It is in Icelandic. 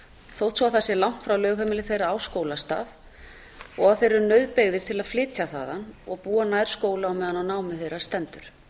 þótt svo það sé langt frá lögheimili þeirra á skólastað og að þeir eru nauðbeygðir til að flytja þaðan og búa nær skóla á meðan á námi þeirra stendur